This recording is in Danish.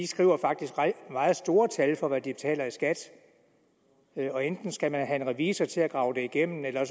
skriver faktisk meget store tal for hvad de betaler i skat og enten skal man have en revisor til at grave det igennem eller